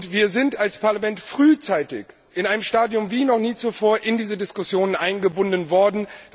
Wir sind als Parlament frühzeitig, in einem Stadium wie noch nie zuvor, in diese Diskussionen eingebunden worden.